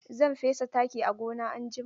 Zan fesa taki a gona anjima.